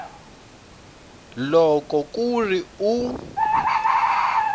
loko ku ri ku u